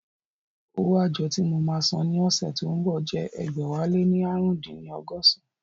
Owó àjọ tí mo máa san ní ọ̀sẹ̀ tí ó ń bọ̀ jẹ́ ẹgbẹ̀wáléní ààrùndínní ọgọ́san